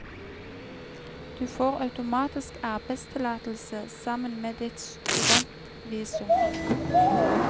Du får automatisk arbeidstillatelse sammen med ditt studentvisum.